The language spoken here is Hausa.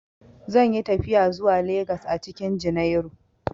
Zan yi tafiya zuwa Legas a cikin junairu.